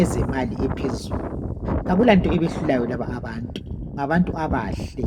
ezemali eziphezulu akulanto ebehlulayo laba abantu ngabantu abahle